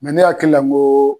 Mɛ ne hakilila n ko